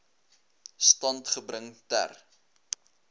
stand gebring ter